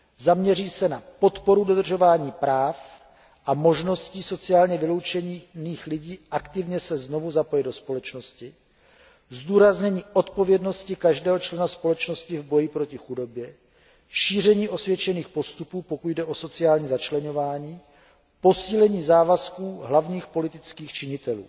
Zaměří se na podporu dodržování práv a možnosti sociálně vyloučených lidí aktivně se znovu zapojit do společnosti, zdůraznění odpovědnosti každého člena společnosti v boji proti chudobě, šíření osvědčených postupů, pokud jde o sociální začleňování, posílení závazků hlavních politických činitelů.